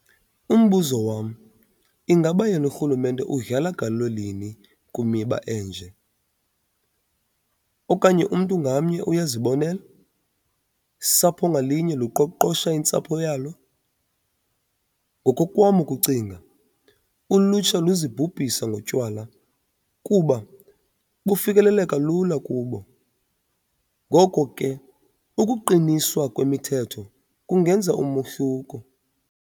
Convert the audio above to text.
Umbuzo wam ingaba yena urhulumente udlala galelo lini kwimiba enje? okanye umntu ngamnye uyazibonela? sapho ngalunye luqoqosha intsapho yalo?. Ngokokwam ukucinga ulutsha luzibhubhisa ngotywala kuba bufikeleleka lula kubo, ngoko ke ukuqiniswa kwemithetho kungenza umohluko.